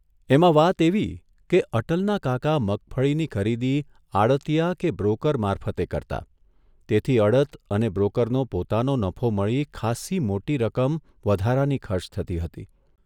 એમાં વાત એવી કે અટલના કાકા મગફળીની ખરીદી આડતિયા કે બ્રોકર મારફતે કરતા તેથી અડત અને બ્રોકરનો પોતાનો નફો મળી ખાસ્સી મોટી રકમ વધારાની ખર્ચ થતી હતી.